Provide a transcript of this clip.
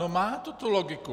No má to tu logiku.